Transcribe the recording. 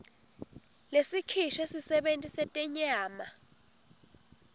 lesikhishwe sisebenti setenyama